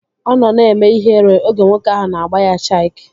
Ọ nọ na-eme ihere oge nwoke ahụ na-agba ya chik